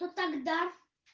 то тогда